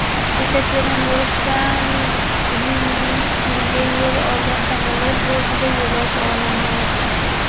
Yekaterinburgdan Tbilisiga yo‘l olgan samolyot bortida yo‘lovchi olamdan o‘tdi.